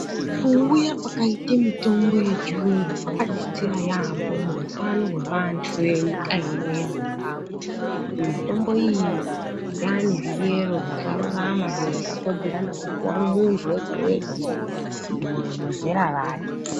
Kuuya kwakaita mitombo yechirungu kwakadetsera yambo muhutano hwevantu vehutano hwezimbabwe kuti mitombo iyi yane mutemo yakarurama Kupuwa muntu wega wega wezera rako.